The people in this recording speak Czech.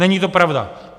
Není to pravda!